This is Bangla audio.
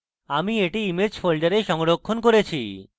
আমি এটি images folder সংরক্ষণ করেছি